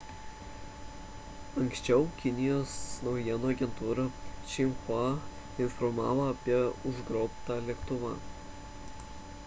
anksčiau kinijos naujienų agentūra xinhua informavo apie užgrobtą lėktuvą